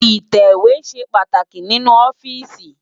itẹwe ṣé pàtáki ninú òfìsí